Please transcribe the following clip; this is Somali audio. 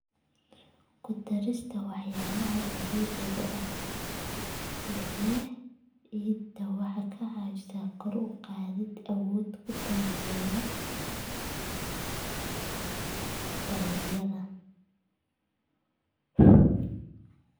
Ku darista walxaha dabiiciga ah ee ciidda waxay ka caawisaa kor u qaadida awoodda ay ku taageerto dalagyada.